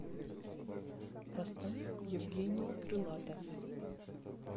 поставь евгений крылатов